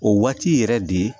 O waati yɛrɛ de